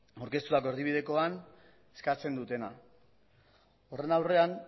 aurkeztutako erdibidekoan eskatzen dutena horren aurrean